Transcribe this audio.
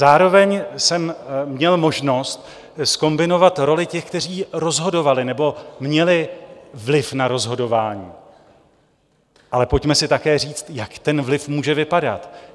Zároveň jsem měl možnost zkombinovat roli těch, kteří rozhodovali nebo měli vliv na rozhodování, ale pojďme si také říct, jak ten vliv může vypadat.